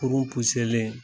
kurun len